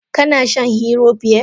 Kana shan hero beer?